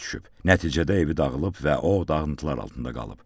Nəticədə evi dağılıb və o dağıntılar altında qalıb.